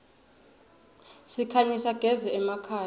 sikhanyisa gez iemakhaya